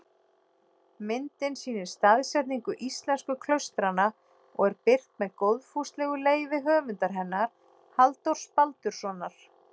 Myndin sýnir staðsetningu íslensku klaustranna og er birt með góðfúslegu leyfi höfundar hennar, Halldórs Baldurssonar.